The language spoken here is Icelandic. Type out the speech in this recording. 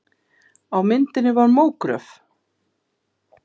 Á myndinni var mógröf.